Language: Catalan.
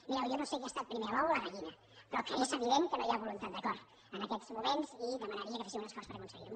mireu jo no sé què ha estat primer l’ou o la gallina però és evident que no hi ha voluntat d’acord en aquests moments i demanaria que féssiu un esforç per aconseguir ho